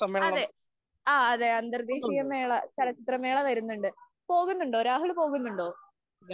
അതേ, അന്തര്‍ദ്ദേശീയ ചലച്ചിത്രമേള വരുന്നുണ്ട്. പോകുന്നുണ്ടോ? രാഹുല്‍ പോകുന്നുണ്ടോ?